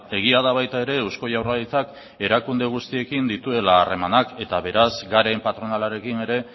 egia da baita ere eusko jaurlaritzak erakunde guztiekin dituela harremanak eta beraz garen patronalarekin ere